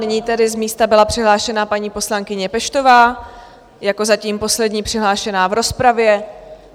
Nyní tedy z místa byla přihlášena paní poslankyně Peštová jako zatím poslední přihlášená v rozpravě.